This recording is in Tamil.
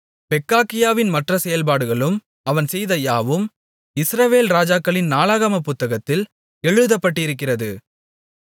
பெக்காகியாவின் மற்ற செயல்பாடுகளும் அவன் செய்த யாவும் இஸ்ரவேல் ராஜாக்களின் நாளாகமப் புத்தகத்தில் எழுதப்பட்டிருக்கிறது